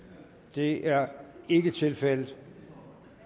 det er ikke tilfældet